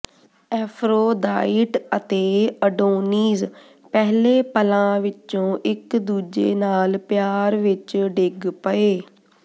Aphrodite ਅਤੇ Adonis ਪਹਿਲੇ ਪਲਾਂ ਵਿਚੋਂ ਇੱਕ ਦੂਜੇ ਨਾਲ ਪਿਆਰ ਵਿੱਚ ਡਿੱਗ ਪਏ